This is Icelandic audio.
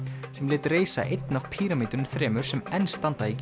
sem lét reisa einn af píramídunum þremur sem enn standa í